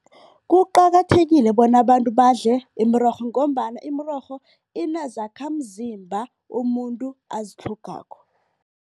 Kuqakathekile bona abantu badle imirorho ngombana imirorho inezakhamzimba umuntu azitlhogako.